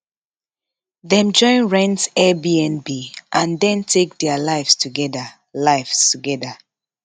dem join rent airbnb and den take dia lives togeda lives togeda